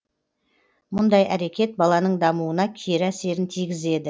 мұндай әрекет баланың дамуына кері әсерін тигізеді